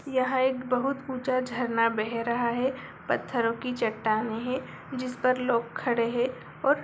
यह एक बहुत ऊंचा झरना बह रहा है। पत्थरो की चट्टानें है जिसपर लोग खड़े हैं और --